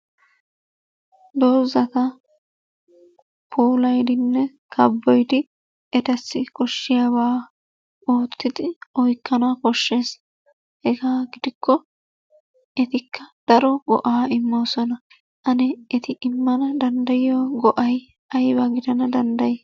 Doozata puulayidinne kabboyidi etassi koshiyaaba oottidi oykkana koshshees. Hega gidikko etikka daro go"a immoosona. Ane eti immana danddayiyyo go"a aybba gidana dandday?